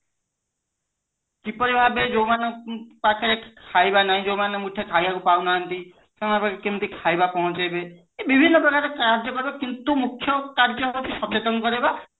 କିପରି ଭାବେ ଯୋଉମାନଙ୍କ ପାଖେ ଖାଇବା ନହିଁ ଯୋଉମାନେ ଖାଇବାକୁ ପାଉ ନାହାନ୍ତି ସେମାନଙ୍କ ପାଖେ କେମିତି ଖାଇବା ପହଞ୍ଚେଇବେ ଏ ବିଭିନ୍ନ ପ୍ରକାର କାର୍ଯ୍ୟ କରିବ କିନ୍ତୁ ମୁଖ୍ୟ କାର୍ଯ୍ୟ ହେଉଛି ସଚେତନ କରେଇବା